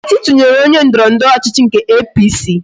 Nkechi tụnyere onye ndọrọndọrọ ọchịchị nke APC